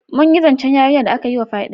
Mun yi zance yarinyar da aka yi wa fyade.